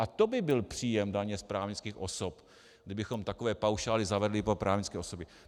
A to by byl příjem daně z právnických osob, kdybychom takové paušály zavedli pro právnické osoby!